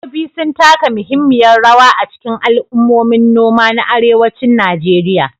Dabbobi sun taka muhimmiyar rawa a cikin al'ummomin noma na arewacin Najeriya.